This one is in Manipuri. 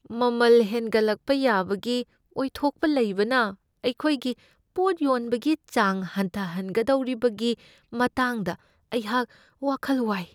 ꯃꯃꯜ ꯍꯦꯟꯒꯠꯂꯛꯄ ꯌꯥꯕꯒꯤ ꯑꯣꯏꯊꯣꯛꯄ ꯂꯩꯕꯅ ꯑꯩꯈꯣꯏꯒꯤ ꯄꯣꯠ ꯌꯣꯟꯕꯒꯤ ꯆꯥꯡ ꯍꯟꯊꯍꯟꯒꯗꯧꯔꯤꯕꯒꯤ ꯃꯇꯥꯡꯗ ꯑꯩꯍꯥꯛ ꯋꯥꯈꯜ ꯋꯥꯏ꯫